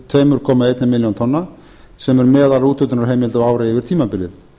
tvö komma eina milljón tonna sem er meðalúthlutunarheimild á ári yfir tímabilið